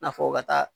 Na fɔ ka taa